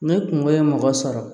Ne kungo ye mɔgɔ sɔrɔ